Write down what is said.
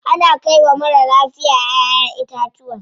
Ana kai wa marar lafiya ƴaʼƴen itatuwa.